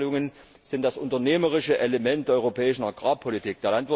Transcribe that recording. Die Direktzahlungen sind das unternehmerische Element der europäischen Agrarpolitik.